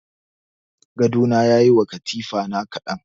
Gadona ya yi wa katifa na kaɗan.